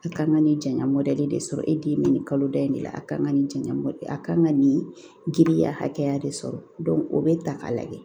A kan ka nin jaɲa de sɔrɔ e den bɛ nin kaloda in de la a ka kan ka nin jaɲɔgɔn a kan ka nin giriya hakɛya de sɔrɔ o bɛ ta k'a lajɛ